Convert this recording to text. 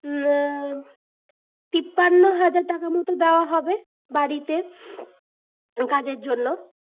উম তিপ্পান্ন হাজার টাকা মতো দেওয়া হবে বাড়িতে কাজের জন্য